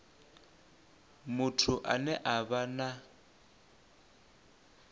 muthu ane a vha na